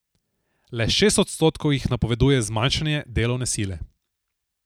Le šest odstotkov jih napoveduje zmanjšanje delovne sile.